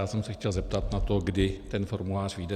Já jsem se chtěl zeptat na to, kdy ten formulář vyjde.